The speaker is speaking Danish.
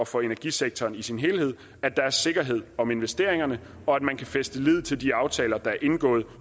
for energisektoren i sin helhed at der er sikkerhed om investeringerne og at man kan fæste lid til de aftaler der er indgået